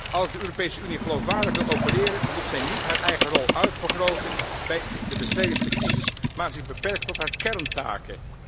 Als de Europese Unie geloofwaardig wil opereren, moet zij niet haar eigen rol uitvergroten bij de bestrijding van de crisis, maar zich beperken tot haar kerntaken.